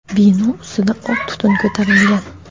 Bino ustida oq tutun ko‘tarilgan.